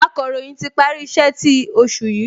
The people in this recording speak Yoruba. Akọ̀ròyìn ti parí iṣẹ́ ti oṣù yìí